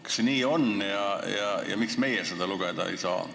Kas see on nii ja miks meie seda lugeda ei saa?